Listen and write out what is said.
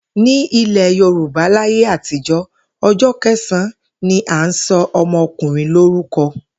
Ní ilè̩ Yorùbá láyé àtijó̩, o̩jó̩ ke̩sàn-án ni a ń so̩ o̩mo̩kùnrin lórúko̩